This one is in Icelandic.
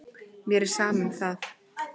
Mér er sama um það.